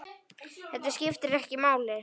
Þetta skiptir ekki máli.